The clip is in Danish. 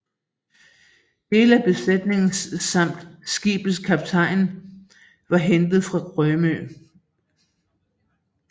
Dele af besætningen samt skibets kaptajn var hentet fra Rømø